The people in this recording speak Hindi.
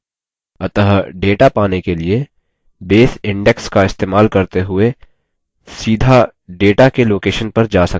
अतः data पाने के लिए base index का इस्तेमाल करते हुए सीधा data के location पर जा सकता है